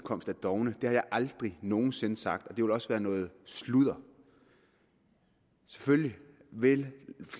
dovne det har jeg aldrig nogen sinde sagt og det vil også være noget sludder selvfølgelig vil